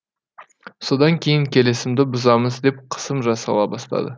содан кейін келісімді бұзамыз деп қысым жасала бастады